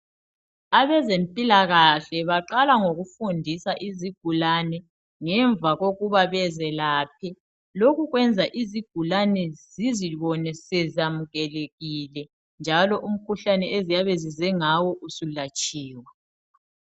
Abezempilakahle baqala ngokufundisa izigulane ngemva kokuba bezelaphe lokhu kwenza izigulane zizibone sezamukelekile njalo umkhuhlane eziyabe zize ngawo usulatshiwe